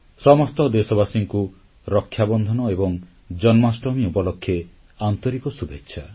ସମସ୍ତ ଦେଶବାସୀଙ୍କୁ ରକ୍ଷାବନ୍ଧନ ଏବଂ ଜନ୍ମାଷ୍ଟମୀ ଉପଲକ୍ଷେ ଆନ୍ତରିକ ଶୁଭେଚ୍ଛା